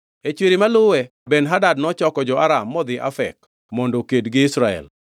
E chwiri maluwe Ben-Hadad nochoko jo-Aram modhi Afek mondo oked gi Israel.